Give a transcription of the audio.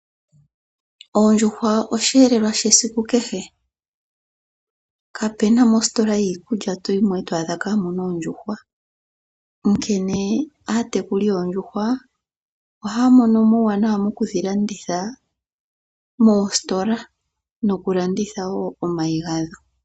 Oondjuhwa osheelelwa shesiku kehe, kapena ositola yiikulya toyimo eto adha kamuna oondjuhwa onkene aatekuli yoondjuhwa ohaya mono uuwanawa mokudhi landitha moositola noku landitha woo omayi gadho.